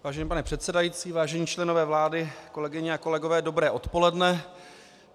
Vážený pane předsedající, vážení členové vlády, kolegyně a kolegové, dobré odpoledne.